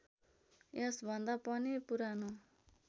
यस भन्दा पनि पुरानो